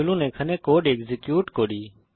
চলুন এখানে code execute করি